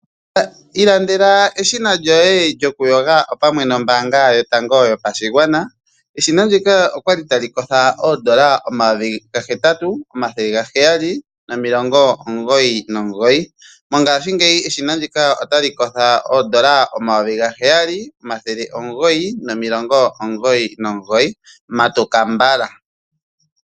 Ilandela eshina lyoye lyokuyoga pamwe nombaanga yotango yopashigwana. Eshina ndika olya li tali kotha N$ 8 799, mongashingeyi eshina ndika otali kotha N$ 7 999. Matuka mbala!